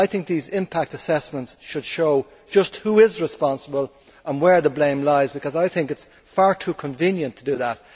I think these impact assessments should show just who is responsible and where the blame lies, because it is far too convenient to do that.